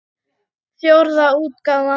Fjórða útgáfa.